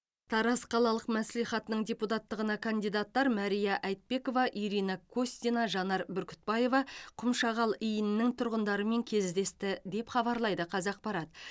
тараз қалалық мәслихатының депутаттығына кандидаттар мария айтбекова ирина костина жанар бүркітбаева құмшағал иінінің тұрғындарымен кездесті деп хабарлайды қазақпарат